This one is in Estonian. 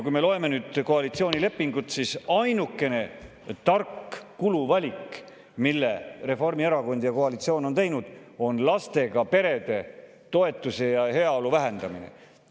" Kui me loeme koalitsioonilepingut, siis näeme, et ainukene tark kuluvalik, mille Reformierakond ja koalitsioon on teinud, on lastega perede toetuse ja heaolu vähendamine.